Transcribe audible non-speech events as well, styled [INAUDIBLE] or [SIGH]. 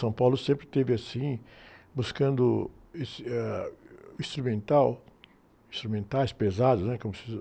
São Paulo sempre teve assim, buscando, [UNINTELLIGIBLE] eh, ãh, instrumental, instrumentais pesados, né? Como se diz...